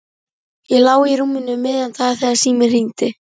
Ég lá í rúminu um miðjan dag þegar síminn hringdi.